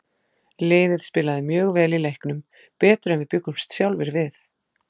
Liðið spilaði mjög vel í leiknum, betur en við bjuggumst sjálfir við.